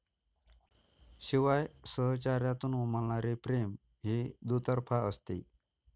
शिवाय सहचर्यातून उमलणारे प्रेम हे दुतर्फा असते.